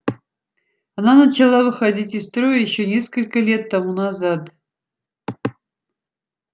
она начала выходить из строя ещё несколько лет тому назад